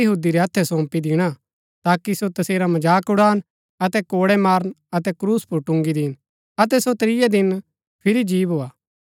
अतै तैसिओ गैर यहूदी रै हत्थै सौंपी दिणा ताकि सो तसेरा मजाक उड़ान अतै कोड़ै मारन अतै क्रूस पुर टुन्गी दीन अतै सो त्रियै दिन फिरी जी भोआ